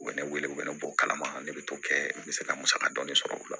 U bɛ ne wele u bɛ ne bɔ kalama ne bɛ t'o kɛ n bɛ se ka musaka dɔɔni sɔrɔ o la